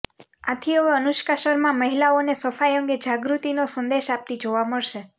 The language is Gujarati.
આથી હવે અનુષ્કા શર્મા મહિલાઓને સફાઇ અંગે જાગૃતિનો સંદેશ આપતી જોવા મળશે